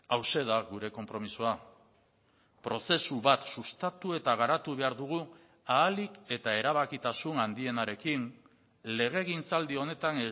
hauxe da gure konpromisoa prozesu bat sustatu eta garatu behar dugu ahalik eta erabakitasun handienarekin legegintzaldi honetan